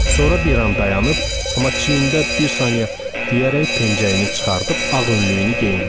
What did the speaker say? Sonra bir an dayanıb, amma çiyində bir saniyə deyərək pençeyini çıxarıb ağ önlüyünü geyindi.